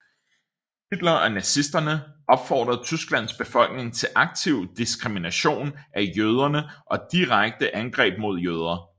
Hitler og nazisterne opfordrede Tysklands befolkning til aktiv diskrimination af jøderne og direkte angreb mod jøder